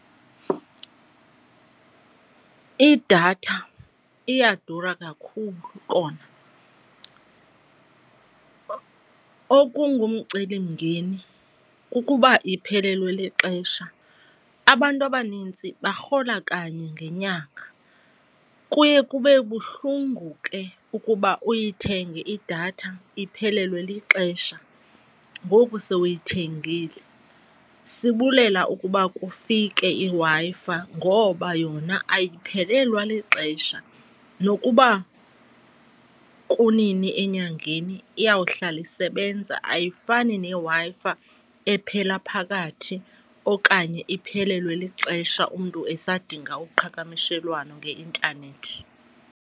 Idatha iyadura kakhulu kona, okungumcelimngeni kukuba iphelelwe lixesha. Abantu abanintsi barhola kanye ngenyanga, kuye kube buhlungu ke ukuba uyithenge idatha iphelelwe lixesha ngoku sowuyithengile. Sibulela ukuba kufike iWi-Fi ngoba yona ayiphelelwa lixesha, nokuba kunini enyangeni iyawuhlala isebenza. Ayifani neWi-Fi ephela phakathi okanye iphelelwe lixesha umntu esadinga uqhakamishelwano ngeintanethi.